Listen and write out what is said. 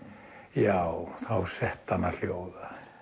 já þá setti hana hljóða